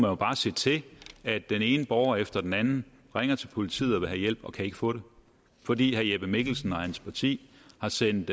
jo bare se til at den ene borger efter den anden ringer til politiet og vil have hjælp og ikke kan få det fordi herre jeppe mikkelsen og hans parti har sendt